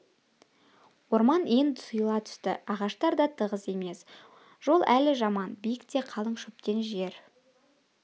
орман енді сұйыла түсті ағаштар да тығыз емес жол әлі жаман биік те қалың шөптен жер